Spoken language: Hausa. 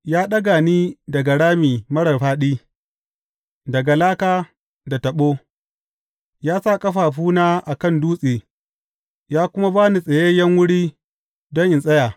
Ya ɗaga ni daga rami marar fāɗi, daga laka da taɓo; ya sa ƙafafuna a kan dutse ya kuma ba ni tsayayyen wuri don in tsaya.